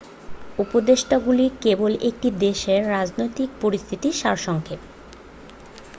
উপদেষ্টাগুলি কেবল একটি দেশের রাজনৈতিক পরিস্থিতির সারসংক্ষেপ